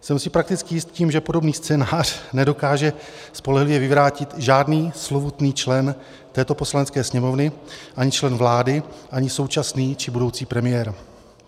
Jsem si prakticky jist tím, že podobný scénář nedokáže spolehlivě vyvrátit žádný slovutný člen této Poslanecké sněmovny, ani člen vlády, ani současný či budoucí premiér.